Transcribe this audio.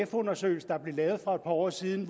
undersøgelse der blev lavet for et par år siden